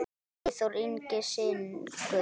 Eyþór Ingi syngur.